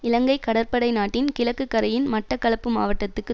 இலங்கை கடற்படை நாட்டின் கிழக்கு கரையின் மட்டக்களப்பு மாவட்டத்துக்கு